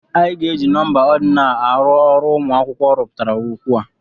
Anyị ga-eji nọmba ordinal arụ ọrụ ụmụ akwụkwọ rụpụtara okwu a.